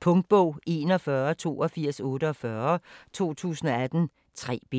Punktbog 418248 2018. 3 bind.